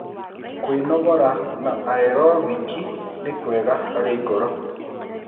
Kwinogora na aerobic ni kwega hari ngoro